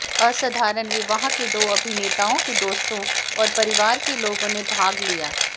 असाधारण विवाह में दो अभिनेताओं के दोस्तों और परिवार के लोगों ने भाग लिया